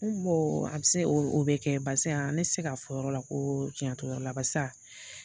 N a be se ,o be kɛ basi ne tɛ se k'a fɔ yɔrɔ la ko cɛn t'o yɔrɔ la